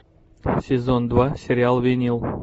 сезон два сериал винил